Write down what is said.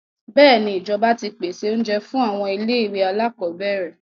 Bẹ́èni, ìjọba ti pèsè oúnjẹ fún àwọn ilé-ìwé alákọọ́bẹ̀rẹ̀.